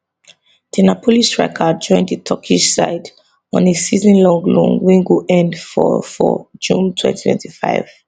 di napoli striker join di turkish side on a seasonlong loan wey go end for for june 2025